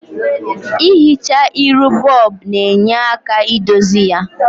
I hichaa iru bob na-nye aka idozi ya.